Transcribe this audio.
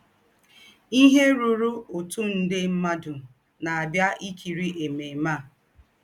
Ìhè rūrú̀ ǒtù ndè mmádụ na - àbịa èkìrí èmèmè à.